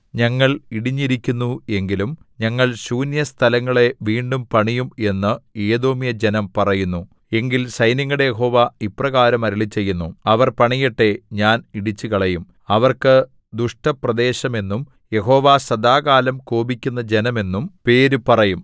ഞങ്ങൾ ഇടിഞ്ഞിരിക്കുന്നു എങ്കിലും ഞങ്ങൾ ശൂന്യസ്ഥലങ്ങളെ വീണ്ടും പണിയും എന്നു ഏദോമ്യജനം പറയുന്നു എങ്കിൽ സൈന്യങ്ങളുടെ യഹോവ ഇപ്രകാരം അരുളിച്ചെയ്യുന്നു അവർ പണിയട്ടെ ഞാൻ ഇടിച്ചുകളയും അവർക്ക് ദുഷ്ടപ്രദേശം എന്നും യഹോവ സദാകാലം കോപിക്കുന്ന ജനം എന്നും പേര് പറയും